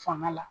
Fanga la